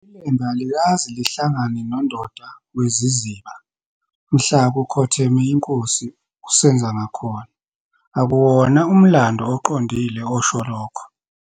ILembe alikaze lihlangane noDonda weziZiba mhla kukhotheme iNkosi uSenzangakhona, akuwona umlando oqondile osho lokho.